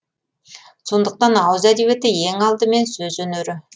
сондықтан ауыз әдебиеті ең алдымен сөз өнері